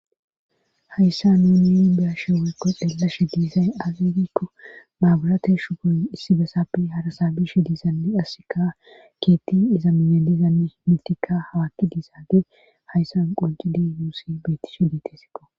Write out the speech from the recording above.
hayssa nuu ni biyashe woykko dhelashe diizay agegikko maabulate shu gooy issi besapi harasa bish diisanni asika keetti iza minye diizani mintika hawaakki diisaage hayssan qonci dii nuusi beetish diitesikko